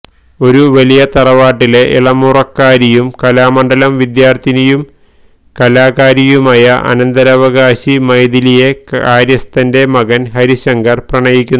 ഒരു വലിയ തറവാട്ടിലെ ഇളമുറക്കാരിയും കലാമണ്ഡലം വിദ്യാർഥിനിയും കലാകാരിയുമായ അനന്തരാവകാശി മൈഥിലിയെ കാര്യസ്ഥന്റെ മകൻ ഹരിശങ്കർ പ്രണയിക്കുന്നു